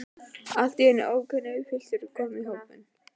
Allt í einu er ókunnur piltur kominn í hópinn.